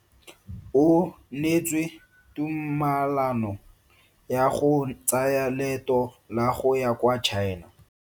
O neetswe tumalano ya go tsaya loeto la go ya kwa China.